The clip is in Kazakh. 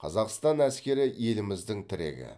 қазақстан әскері еліміздің тірегі